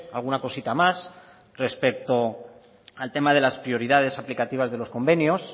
alguna cosita más respecto al tema de las prioridades aplicativas de los convenios